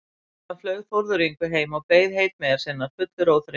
Síðan flaug Þórður Yngvi heim og beið heitmeyjar sinnar fullur óþreyju.